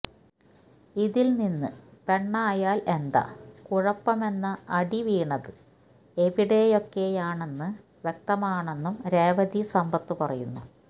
ഇതില് നിന്ന് പെണ്ണായാല് എന്താ കുഴപ്പമെന്ന അടി വീണത് എവിടെയൊക്കെയാണെന്ന് വ്യക്തമാണെന്നും രേവതി സമ്പത്ത് പറയുന്നു